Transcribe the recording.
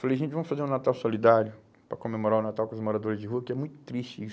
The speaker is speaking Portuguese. Falei, gente, vamos fazer um Natal Solidário para comemorar o Natal com os moradores de rua, porque é muito triste isso.